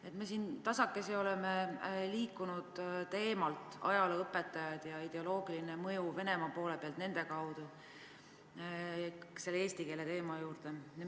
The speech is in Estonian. Me oleme siin tasakesi liikunud ajalooõpetajate ja Venemaa ideoloogilise mõju teema juurest eesti keele teema juurde.